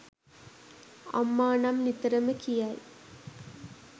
අම්මා නම් නිතරම කියයි.